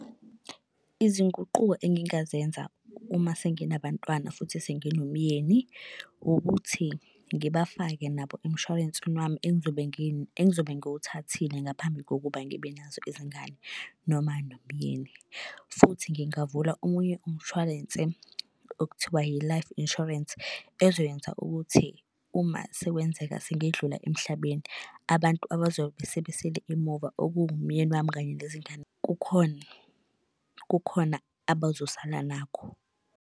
Izinguquko engingazenza uma senginabantwana futhi senginomyeni ukuthi ngibafake nabo emshwarensini wami engizobe engizobe ngiwuthathile ngaphambi kokuba ngibe nazo izingane noma nomyeni. Futhi ngingavula omunye umshwarense okuthiwa yi-life insurance ezokwenza ukuthi uma sekwenzeka sengidlule emhlabeni, abantu abazobe sebesele emuva okuwumyeni wami kanye nezingane kukhona, kukhona abazosala nakho.